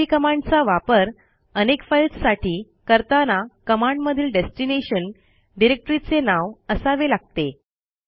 MV कमांडचा वापर अनेक फाईल्स साठी करताना कमांडमधील डेस्टिनेशन डिरेक्टरीचे नाव असावे लागते